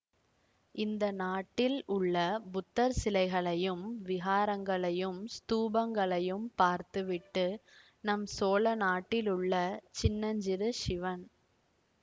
இந்த நாட்டில் உள்ள புத்தர் சிலைகளையும் விஹாரங்களையும் ஸ்தூபங்களையும் பார்த்துவிட்டு நம் சோழ நாட்டிலுள்ள சின்னஞ்சிறு சிவன்